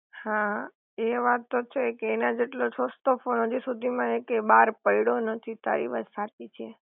હા એ વાત તો છે કે એના જેટલો સસ્તો ફોન હજુ સુધી માં એકે બાર પડ્યો નથી તારી વાત સાચી છે